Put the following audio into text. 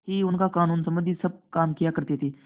ही उनका कानूनसम्बन्धी सब काम किया करते थे